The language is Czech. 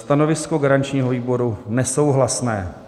Stanovisko garančního výboru: nesouhlasné.